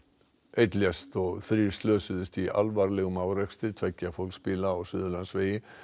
einn lést og þrír slösuðust í alvarlegum árekstri tveggja fólksbíla á Suðurlandsvegi